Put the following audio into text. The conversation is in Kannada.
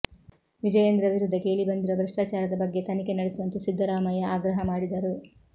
ವಿಜಯೇಂದ್ರ ವಿರುದ್ಧ ಕೇಳಿಬಂದಿರುವ ಭ್ರಷ್ಟಾಚಾರದ ಬಗ್ಗೆ ತನಿಖೆ ನಡೆಸುವಂತೆ ಸಿದ್ದರಾಮಯ್ಯ ಆಗ್ರಹ ಮಾಡಿದರು